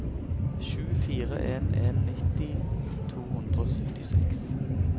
sju fire en en nitti to hundre og syttiseks